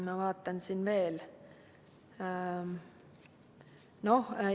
Ma toon veel mõne näite.